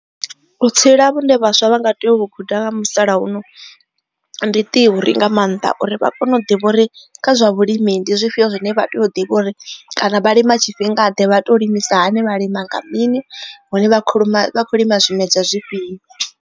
Vhutsila vhune vhaswa vha nga tea u vhu guda nga musalauno ndi theory nga maanḓa uri vha kone u ḓivha uri kha zwa vhulimi ndi zwifhio zwine vha tea u ḓivha uri kana vha lima tshifhinga ḓe vha to limisa hani vha lima nga mini hune vha kho lima vha khou lima zwimedzwa zwifhio.